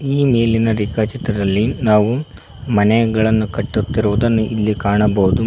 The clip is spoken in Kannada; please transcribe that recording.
ಈ ಮೇಲಿನ ರೇಖಾಚಿತ್ರದಲ್ಲಿ ನಾವು ಮನೆಗಳನ್ನು ಕಟ್ಟುತ್ತಿರುವುದನ್ನು ಇಲ್ಲಿ ಕಾಣಬಹುದು.